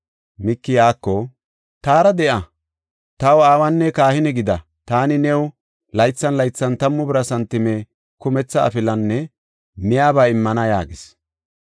Miiki iyako, “Taara de7a; taw aawanne kahine gida. Taani new laythan laythan tammu bira santime, kumetha afilanne miyaba immana” yaagis.